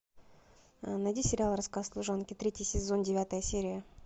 найди сериал рассказ служанки третий сезон девятая серия